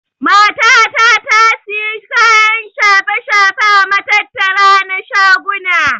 Mata ta tasiya kayan shafe-shafe a matattara na shaguna.